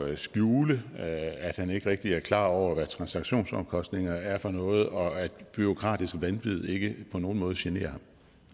at skjule at han ikke rigtig er klar over hvad transaktionsomkostninger er for noget og at bureaukratisk vanvid ikke på nogen måde generer